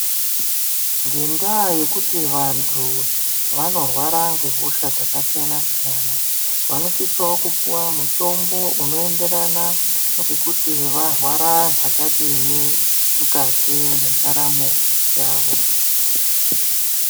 Ngendaa yekuti vanthu vanorwara ngehosha dzakasiyana siyana vanosisao kupuwa mutombo unoenderana ngekuti varwara zvakadini mukati mwendaramo yavo.